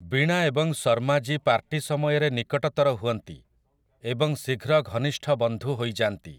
ବୀଣା ଏବଂ ଶର୍ମାଜୀ ପାର୍ଟି ସମୟରେ ନିକଟତର ହୁଅନ୍ତି ଏବଂ ଶୀଘ୍ର ଘନିଷ୍ଠ ବନ୍ଧୁ ହୋଇଯାଆନ୍ତି ।